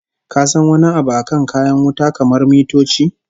Ka san wani abu akan kayan wuta kamar mitoci?